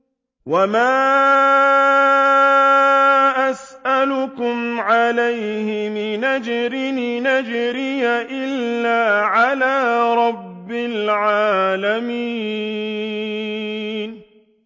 وَمَا أَسْأَلُكُمْ عَلَيْهِ مِنْ أَجْرٍ ۖ إِنْ أَجْرِيَ إِلَّا عَلَىٰ رَبِّ الْعَالَمِينَ